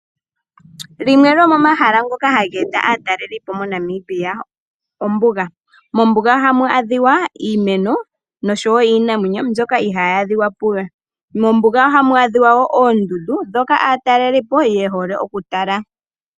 Limwe lyomomahala ngoka haga eta aatalelipo moNamibia, ombuga. Mombuga ohamu adhika iimeno nosho wo iinamwenyo mbyoka ihaayi adhika palwe. Mombuga ohamu adhika woo oondundu, ndhoka aatalelipo ye hole okutala.